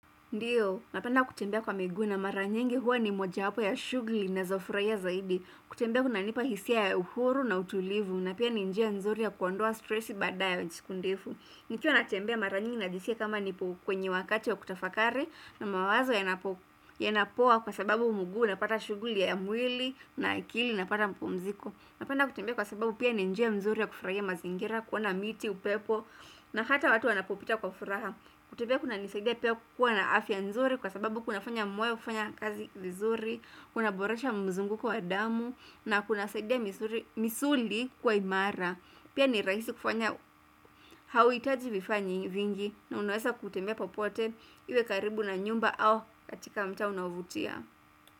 Ndiyo, napenda kutembea kwa miguu na mara nyingi huwa ni moja wapo ya shughuli nazo furahia zaidi. Kutembea kunanipa hisia ya uhuru na utulivu na pia ni njia nzuri ya kuondoa stressi baada ya siku ndefu. Nikiwa natembea mara nyingi na jiskia kama niko kwenye wakati wa kutafakari, na mawazo, yanapoa kwa sababu mguu unapata shughuli ya mwili, na akili inapata mpumziko. Napenda kutembea kwa sababu pia ni njia nzuri ya kufurahia mazingira, kuona miti, upepo na hata watu wanapopita kwa furaha. Kutembea kunanisaida pia kuwa na afya nzuri kwa sababu kuna fanya moyo kufanya kazi vizuri, kuna boresha mzunguko wa damu, na kunasaida misuli kuwa imara. Pia ni rahisi kufanya. Hauhitaji vifaa vingi na unaweza kutembea popote iwe karibu na nyumba au katika mtaa unaovutia.